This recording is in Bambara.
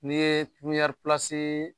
N'i ye puɲari